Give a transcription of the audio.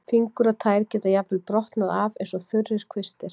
Fingur og tær geta jafnvel brotnað af eins og þurrir kvistir.